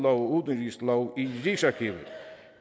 og udenrigslov i rigsarkivet